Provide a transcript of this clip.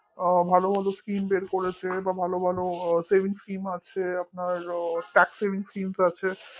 ভালো ভালো schemes বের করেছে ভালো ভালো savingsschemes আছে আপনার TAXsavingsschemes আছে